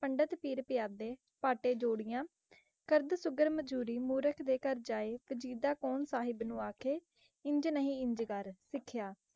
ਪੰਡਤ, ਪੀਰ ਪਿਆਦੇ, ਪਾਟੇ ਜੋੜਿਆਂ। ਕਰਦਾ ਸੁਘੜ ਮਜ਼ੂਰੀ, ਮੂਰਖ ਦੇ ਘਰ ਜਾਇ। ਵਜੀਦਾ ਕੌਣ ਸਾਹਿਬ ਨੂੰ ਆਖੇ, ਇੰਝ ਨਹੀਂ ਇੰਝ ਕਰ। ਸਿੱਖਿਆ